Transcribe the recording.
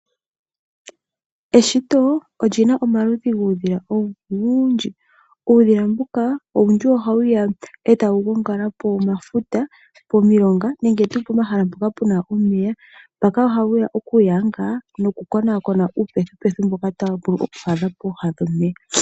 Eshito oli na omaludhi guudhila owundji. Uudhila mbuka olwidhi ohawu ya e tawu gongala pomafuta, pomilonga nenge tuu pomahala mpoka pu na omeya. Mpaka ohawu ya okuyanga nokukonakona uupethipethi mboka tawu vulu okwaadha pooha dhomeya.